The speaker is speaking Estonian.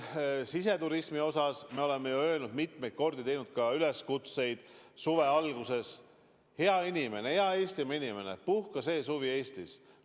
Siseturismi osas me oleme ju öelnud mitmeid kordi, teinud üleskutseid suve alguses: hea inimene, hea Eestimaa inimene, puhka see suvi Eestis!